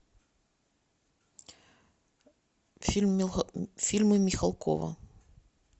фильмы михалкова